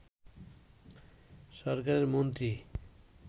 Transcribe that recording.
সরকারের মন্ত্রী